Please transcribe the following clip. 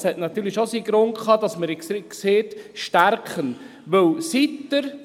es hatte natürlich schon seinen Grund, dass wir «stärken» gesagt haben: